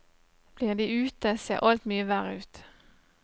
Blir de ute, ser alt mye verre ut.